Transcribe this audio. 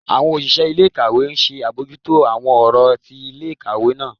Àwọn òṣìṣẹ́ ilé-ìkàwé ńṣe àbójútó àwọn ọ̀rọ̀ ti ilé-ìkàwé náà.